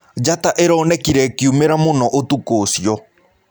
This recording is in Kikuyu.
Jata ĩronekĩre ĩkĩũmĩra mũno ũtũkũ ũcĩo.